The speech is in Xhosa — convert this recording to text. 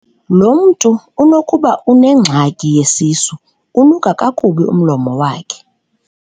Lo mntu unokuba unengxaki yesisu, unuka kakubi umlomo wakhe.